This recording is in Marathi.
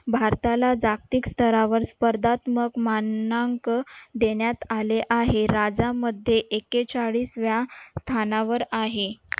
भारताला जागतिक स्तरावर स्पर्धात्मक मानांक देण्यात आले आहे. राज्यामध्ये एकेचाळीसव्या स्थानावर आहे.